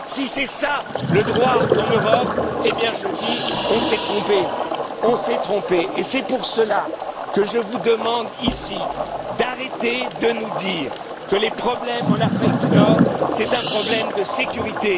pas. Si c'est ça le droit en Europe, je dis qu'on s'est trompé et c'est pour cela que je vous demande, ici, d'arrêter de nous dire que les problèmes en Afrique du Nord constituent un problème de sécurité.